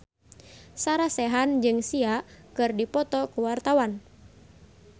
Sarah Sechan jeung Sia keur dipoto ku wartawan